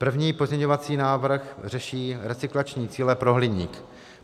První pozměňovací návrh řeší recyklační cíle pro hliník.